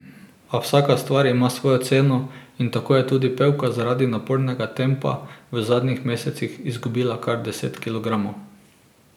A vsaka stvar ima svojo ceno in tako je tudi pevka zaradi napornega tempa v zadnjih mesecih izgubila kar deset kilogramov.